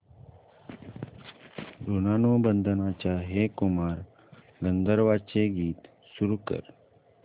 ऋणानुबंधाच्या हे कुमार गंधर्वांचे गीत सुरू कर